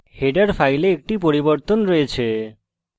header file একটি পরিবর্তন আছে